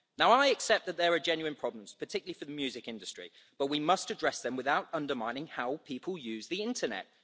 Now I accept that there are genuine problems, particularly for the music industry, but we must address them without undermining how people use the internet.